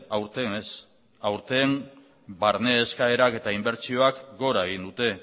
aurten ez aurten barne eskaerak eta inbertsioak gora egin dute